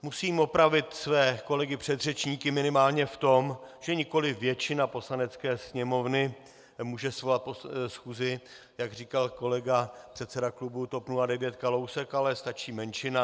Musím opravit své kolegy předřečníky minimálně v tom, že nikoliv většina Poslanecké sněmovny může svolat schůzi, jak říkal kolega, předseda klubu TOP 09 Kalousek, ale stačí menšina.